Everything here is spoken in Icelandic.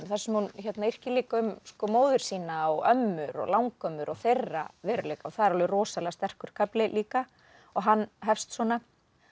þar sem hún yrkir líka um móður sína og ömmur og langömmur og þeirra veruleika og það er alveg rosalega sterkur kafli líka og hann hefst svona